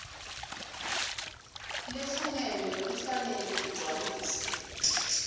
lefungelwe ifanele igcwaliswe